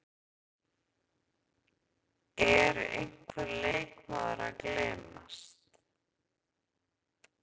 Er einhver leikmaður að gleymast?